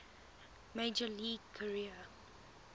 major league career